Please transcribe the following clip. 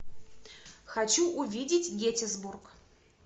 хочу увидеть геттисбург